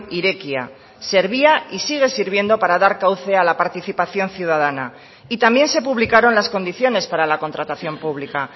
irekia servía y sigue sirviendo para dar cauce a la participación ciudadana y también se publicaron las condiciones para la contratación pública